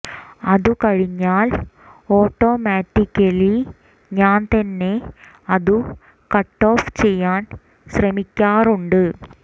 അതു കഴിഞ്ഞാൽ ഒാട്ടോമാറ്റിക്കലി ഞാൻ തന്നെ അതു കട്ടോഫ് ചെയ്യാൻ ശ്രമിക്കാറുണ്ട്